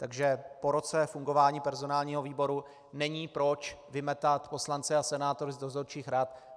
Takže po roce fungování personálního výboru není proč vymetat poslance a senátory z dozorčích rad.